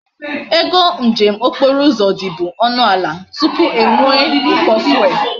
Ego njem okporo uzo di bu onu ala tupu enwe e uko fuel